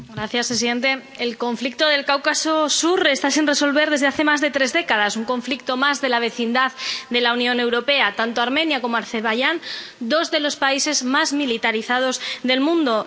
Señor presidente, el conflicto del Cáucaso sur está sin resolver desde hace más de tres décadas, un conflicto más de la vecindad de la Unión Europea tanto Armenia como Azerbaiyán, dos de los países más militarizados del mundo